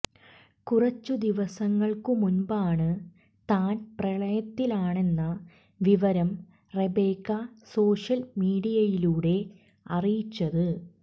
കുറച്ചു ദിവസങ്ങൾക്കു മുൻപാണ് താൻ പ്രണയത്തിലാണെന്ന വിവരം റെബേക്ക സോഷ്യൽ മീഡിയയിലൂടെ അറിയിച്ചത്